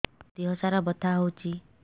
ମୋ ଦିହସାରା ବଥା ହଉଚି